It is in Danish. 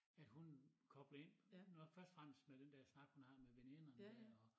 At hun kobler ind når først og fremmest med den dér snak hun har med veninderne dér og